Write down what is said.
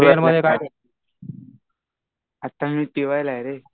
आता मी टि वायला आहे रे.